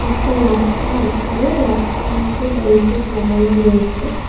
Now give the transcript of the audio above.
একটা রাস্তা আছে রাস্তার মধ্যে ব্যারিকেড লাগানো রয়েছে।